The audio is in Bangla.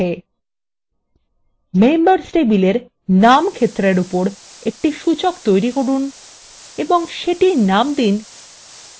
members table names ক্ষেত্রের উপর একটি সূচক তৈরি করুন এবং সেটির names দিন idx _ membername